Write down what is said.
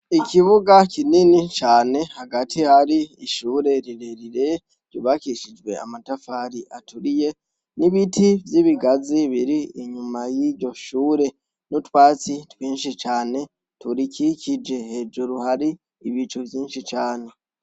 Ikibuga kinini cyane hagati hari ishure rire rire ryubakishijwe amatafari aturiye n'ibiti vy'ibigazi biri inyuma y'iyo shure n'utwatsi twinshi cane turi kikije hejuru hari ibicu vyinshi cane.